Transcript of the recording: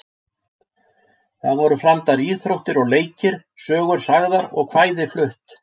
Þar voru framdar íþróttir og leikir, sögur sagðar og kvæði flutt.